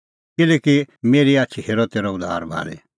किल्हैकि मेरी आछी हेरअ तेरअ उद्धार भाल़ी